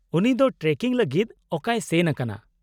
-ᱩᱱᱤ ᱫᱚ ᱴᱨᱮᱠᱤᱝ ᱞᱟᱹᱜᱤᱫ ᱚᱠᱟᱭ ᱥᱮᱱ ᱟᱠᱟᱱᱟ ?